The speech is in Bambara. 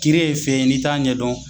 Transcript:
Kiiri ye fɛn ye n'i t'a ɲɛ dɔn